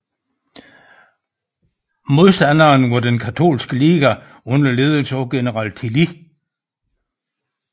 Modstanderen var Den Katolske Liga under ledelse af General Tilly